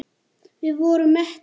Við vorum mettir.